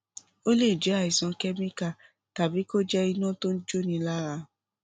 ó lè jẹ àìsàn kẹmíkà tàbí kó jẹ iná tó jóni lára